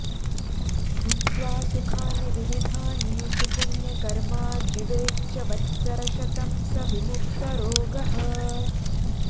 भुक्त्वा सुखानि विविधानि सुपुण्यकर्मा जीवेच्च वत्सरशतं स विमुक्तरोगः